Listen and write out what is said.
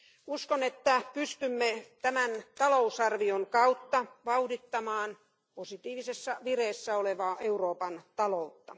Uskon, että pystymme tämän talousarvion kautta vauhdittamaan positiivisessa vireessä olevaa Euroopan taloutta.